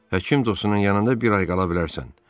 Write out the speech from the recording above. Həkim dostunun yanında bir ay qala bilərsən.